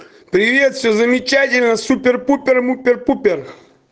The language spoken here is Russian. привет всё замечательно супер пупер мупер пупер